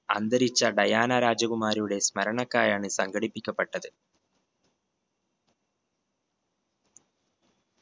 അന്തരിച്ച ഡയാന രാജകുമാരിയുടെ സ്മരണക്കായാണ് സംഘടിപ്പിക്കപ്പെട്ടത്.